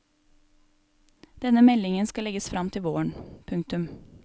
Denne meldingen skal legges frem til våren. punktum